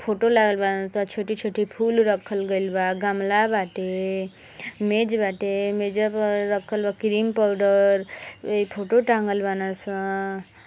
photo लागल बाने सं छोटी छोटी फूल रखल गइल बा गमला बाटे मेज वाटे मेज़वा पर रखल बा क्रीम पाउडर फोटो टाँगल बाने सं |